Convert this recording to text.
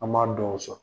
An m'a dɔw sɔrɔ